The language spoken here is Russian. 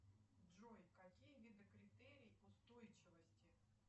джой какие виды критерий устойчивости